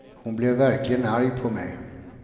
Hon blev verkligen arg på mig.